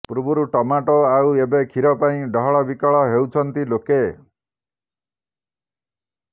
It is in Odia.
ପୂର୍ବରୁ ଟମାଟୋ ଆଉ ଏବେ କ୍ଷୀର ପାଇଁ ଡହଳ ବିକଳ ହେଉଛନ୍ତି ଲୋକେ